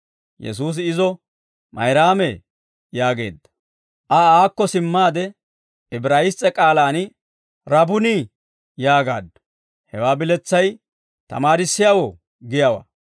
Yesuusi izo, «Mayraamee» yaageedda. Aa aakko simmaade, Ibraayiss's'e k'aalaan «Rabunii» yaagaaddu; hewaa biletsay «Tamaarissiyaawoo» giyaawaa.